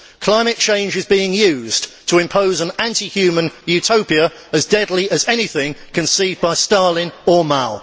Climate change is being used to impose an anti human utopia as deadly as anything conceived by Stalin or Mao.